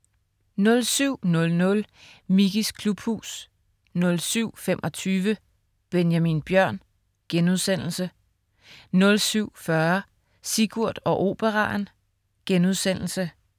07.00 Mickeys klubhus 07.25 Benjamin Bjørn* 07.40 Sigurd og Operaen*